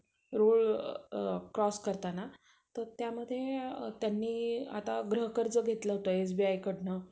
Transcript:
अठरा ते वीस